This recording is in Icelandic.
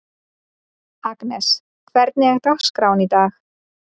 Agnes, hvernig er dagskráin í dag?